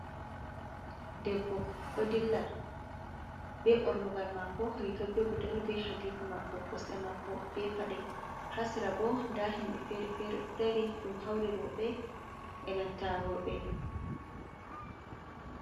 Debbo odilla be bornugal mako riga be gudel, be hadiko mako kosde mako be pade hasira bo da himbe fere fere dari dum hauri roɓe be nanta worɓe.